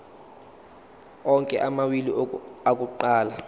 onke amawili akuqala